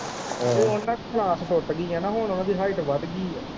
ਤੇ ਉਨਾਂ ਦੀ ਕਲਾਸ ਟੁੱਟਗੀ ਆ ਹੁਣ ਓਦੀ ਹਾਇਟ ਵੱਧਗੀ ਐ।